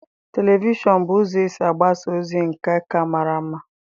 Televishọn bụ ụzọ esi agbasa ozi nke a ka mara ama.